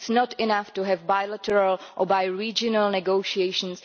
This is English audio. It is not enough to have bilateral or bi-regional negotiations.